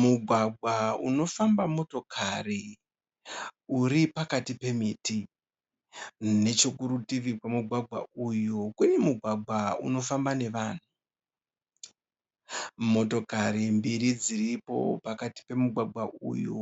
Mugwagwa unofamba motokari uri pakati pemiti. Nechekuritivi kwemugwagwa uyu kune mugwagwa unofamba nevanhu. Motokari mbiri dziripo pakati pomu gwagwa uyu